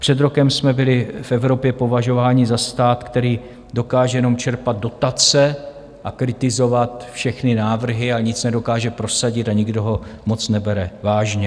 Před rokem jsme byli v Evropě považováni za stát, který dokáže jenom čerpat dotace a kritizovat všechny návrhy a nic nedokáže prosadit a nikdo ho moc nebere vážně.